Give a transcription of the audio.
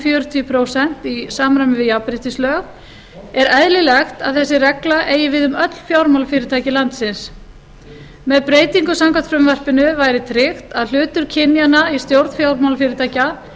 fjörutíu prósent í samræmi við jafnréttislög er eðlilegt að þessi regla eigi við um öll fjármálafyrirtæki landsins með breytingum samkvæmt frumvarpinu væri tryggt að hlutur kynjanna í stjórn fjármálafyrirtækja